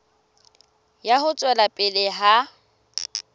ya ho tswela pele ha